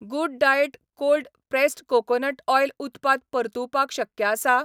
Good diet cold pressed coconut oil उत्पाद परतुवपाक शक्य आसा?